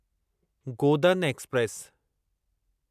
Godan express